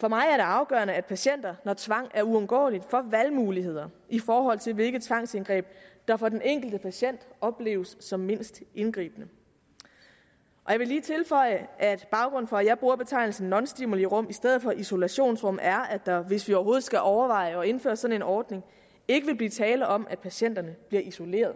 for mig er det afgørende at patienter når tvang er uundgåeligt får valgmuligheder i forhold til hvilket tvangsindgreb der for den enkelte patient opleves som mindst indgribende jeg vil lige tilføje at baggrunden for at jeg bruger betegnelsen nonstimulirum i stedet for isolationsrum er at der hvis vi overhovedet skal overveje at indføre sådan en ordning ikke vil blive tale om at patienterne bliver isoleret